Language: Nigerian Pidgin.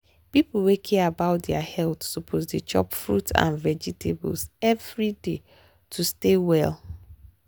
people wey care about health suppose dey chop fruit and vegetables every day to stay well.